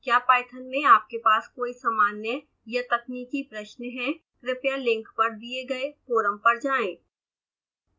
क्या python में आपके पास कोई सामान्य/तकनीकी प्रश्न है कृपया लिंक पर दिए गए फोरम पर जाएं